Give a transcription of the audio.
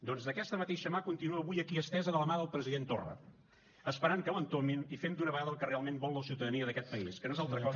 doncs aquesta mateixa mà continua avui aquí estesa de la mà del president torra esperant que l’entomin i fent d’una vegada el que realment vol la ciutadania d’aquest país que no és altra cosa